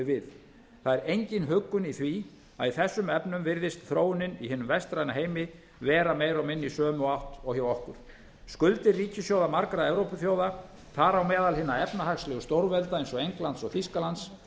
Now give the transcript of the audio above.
við það er engin huggun í því að í þessum efnum virðist þróunin i hinum vestræna heimi vera meira og minna í sömu átt og hjá okkur skuldir ríkissjóða margra evrópuþjóða þar á meðal hinna efnahagslegu stórvelda eins og englands og þýskalands